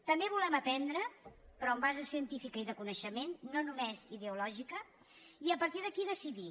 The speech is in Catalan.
també volem aprendre però amb base científica i de coneixement no només ideològica i a partir d’aquí decidir